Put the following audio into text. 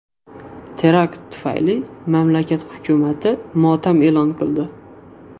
Terakt tufayli mamlakat hukumati motam e’lon qildi.